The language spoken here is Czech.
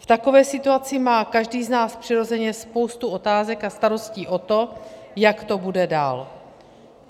V takové situaci má každý z nás přirozeně spoustu otázek a starostí o to, jak to bude dál.